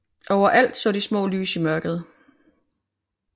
Overalt så de små lys i mørket